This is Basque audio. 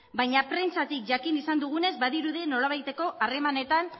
baina prentsatik jakin izan dugunez badirudi nolabaiteko harremanetan